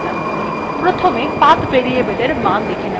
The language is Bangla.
প্রথমে path variable এর মান দেখে নেওয়া যাক